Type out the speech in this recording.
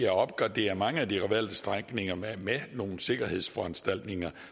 at opgradere mange af de valgte strækninger med nogle sikkerhedsforanstaltninger